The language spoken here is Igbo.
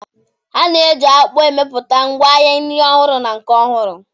A ga-eji akpu emepụta ngwaahịa nri ọhụrụ na nke ọhụrụ.